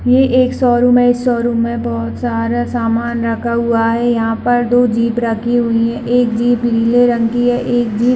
ये एक शोरूम है इस शोरूम में बहुत सारा सामान रखा हुआ है यहाँ पर दो जीप रखी हुई है एक जीप नीले रंग की है एक जीप --